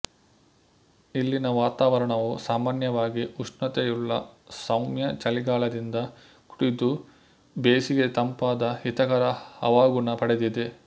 ಇಲ್ಲಿನ ವಾತಾವರಣವು ಸಾಮಾನ್ಯವಾಗಿ ಉಷ್ಣತೆಯುಳ್ಳ ಸೌಮ್ಯ ಚಳಿಗಾಲದಿಂದ ಕೂಡಿದ್ದುಬೇಸಿಗೆ ತಂಪಾದ ಹಿತಕರ ಹವಾಗುಣ ಪಡೆದಿದೆ